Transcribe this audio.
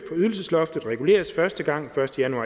ydelsesloftet reguleres første gang første januar